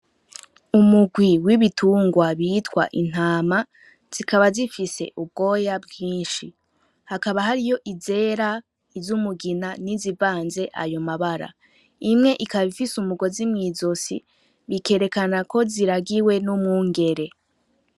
Umugwi w'ibitungwa bitwa intama zikaba zifise ubwoya bwinshi hakaba hariyo izera izo umugina n'izivanze ayo mabara, imwe ikaba ifise umugozi mw'izosi bikerekana ko ziragiwe n'umwungere.